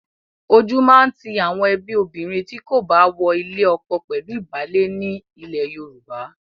Ojú máa ti àwọn ẹbí obìnrin tí kò bá wọ ilé ọkọ pẹ̀lú ìbálé ní ilẹ̀ Yorùbá.